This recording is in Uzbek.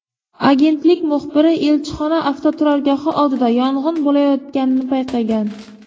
Agentlik muxbiri elchixona avtoturargohi oldida yong‘in bo‘layotganini payqagan.